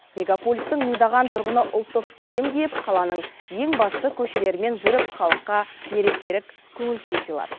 мегаполистің мыңдаған тұрғыны ұлттық киім киіп қаланың ең басты көшелерімен жүріп халыққа мерекелік көңіл күй сыйлады